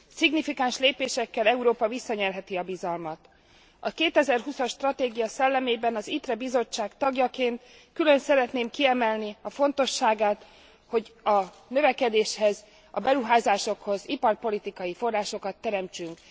Szignifikáns lépésekkel Európa visszanyerheti a bizalmat. A 2020 as stratégia szellemében az ITRE bizottság tagjaként külön szeretném kiemelni annak fontosságát, hogy a növekedéshez, a beruházásokhoz iparpolitikai forrásokat teremtsünk.